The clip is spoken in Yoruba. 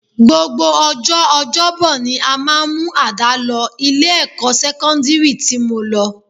Gbogbo ọjọ́ ọjọ́bọ ni a máa ń mú àdá lọ ilé-ẹ̀kọ́ sẹ́kọ́ndírì tí mo lọ